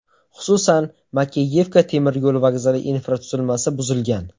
Xususan, Makeyevka temir yo‘l vokzali infratuzilmasi buzilgan.